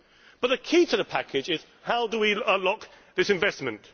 But the key to the package is how do we unlock this investment?